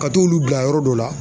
Ka t'olu bila yɔrɔ dɔ la